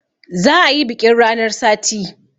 Za a yi biƙin ranar sati